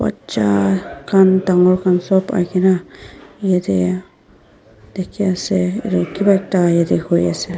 bacha khan dangor khan sob ahina yate dekhi ase ete kiva ekta ete hoi asa.